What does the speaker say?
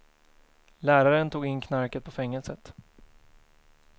Läraren tog in knarket på fängelset.